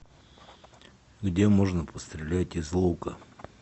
где можно пострелять из лука